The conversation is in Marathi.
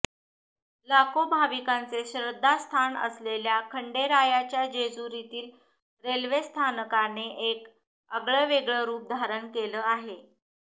लाखो भाविकांचे श्रद्धास्थान असलेल्या खंडेरायाच्या जेजुरीतील रेल्वे स्थानकाने एक आगळंवेगळं रुप धारण केलं आहे